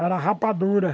Era rapadura.